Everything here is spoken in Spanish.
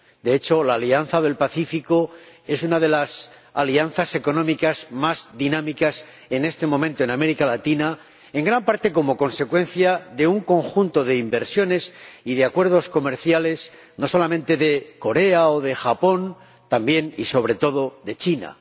De hecho, la Alianza del Pacífico es una de las alianzas económicas más dinámicas en este momento en América Latina, en gran parte como consecuencia de un conjunto de inversiones y de acuerdos comerciales, no solamente con Corea o con Japón, también y sobre todo con China.